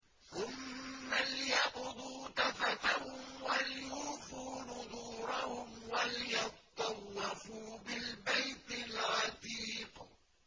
ثُمَّ لْيَقْضُوا تَفَثَهُمْ وَلْيُوفُوا نُذُورَهُمْ وَلْيَطَّوَّفُوا بِالْبَيْتِ الْعَتِيقِ